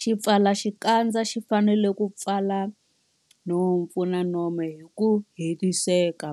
Xipfalaxikandza xi fanele ku pfala nhompfu na nomo hi ku hetiseka.